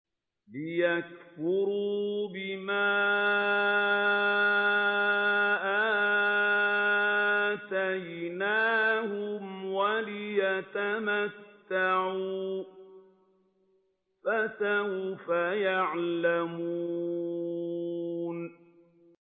لِيَكْفُرُوا بِمَا آتَيْنَاهُمْ وَلِيَتَمَتَّعُوا ۖ فَسَوْفَ يَعْلَمُونَ